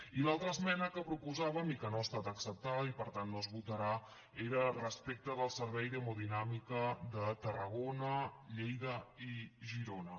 i l’altra esmena que proposàvem i que no ha estat acceptada i per tant no es votarà era respecte al servei d’hemodinàmica de tarragona lleida i girona